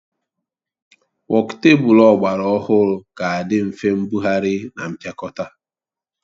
Wokutebụl ọgbara ọhụrụ ga-adị nfe mbugharị na mpịakọta